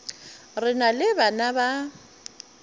re na le bana ba